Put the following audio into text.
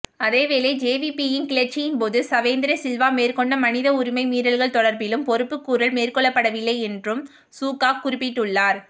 அதேவேளை ஜேவிபியின் கிளர்ச்சியின்போது சவேந்திர சில்வா மேற்கொண்ட மனித உரிமை மீறல்கள் தொடர்பிலும் பொறுப்புக்கூறல் மேற்கொள்ளப்படவில்லை என்றும் சூக்கா குறிப்பிட்டுள்ளார்